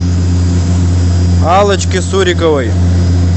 аллочке суриковой